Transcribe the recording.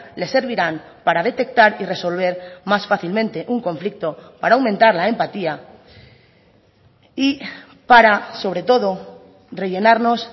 le servirán para detectar y resolver más fácilmente un conflicto para aumentar la empatía y para sobre todo rellenarnos